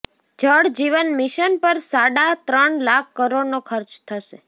જળ જીવન મિશન પર સાડા ત્રણ લાખ કરોડનો ખર્ચ થશે